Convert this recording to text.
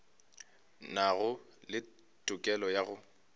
nago le tokelo ya go